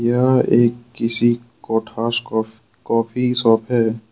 यह एक किसी कोठास कॉफ़ी शॉप है।